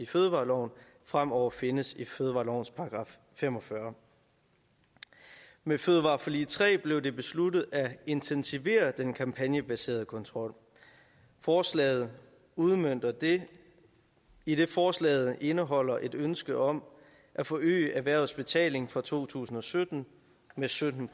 fødevareloven fremover findes i fødevarelovens § fem og fyrre med fødevareforlig tre blev det besluttet at intensivere den kampagnebaserede kontrol forslaget udmønter det idet forslaget indeholder et ønske om at forøge erhvervets betaling fra to tusind og sytten med sytten